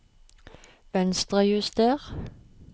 Venstrejuster